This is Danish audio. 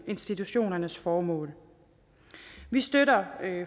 institutionernes formål vi støtter